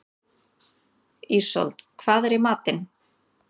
Ísold, hvað er í matinn?